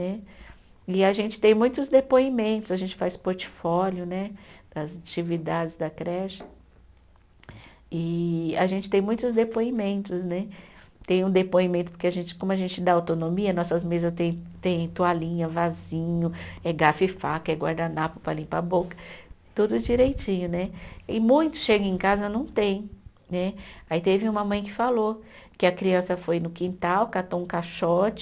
Né. E a gente tem muitos depoimentos, a gente faz portfólio né das atividades da creche, e a gente tem muitos depoimentos né, tem um depoimento que a gente como a gente dá autonomia, nossas mesas tem tem toalhinha, vasinho, é garfo e faca, é guardanapo para limpar a boca, tudo direitinho né, e muitos chegam em casa e não tem né, aí teve uma mãe que falou que a criança foi no quintal, catou um caixote,